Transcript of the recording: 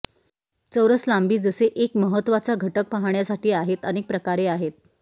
चौरस लांबी जसे एक महत्वाचा घटक पाहण्यासाठी आहेत अनेक प्रकारे आहे